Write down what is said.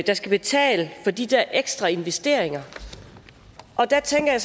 skal betale for de der ekstra investeringer der tænker jeg